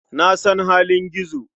Na san halin Gizo.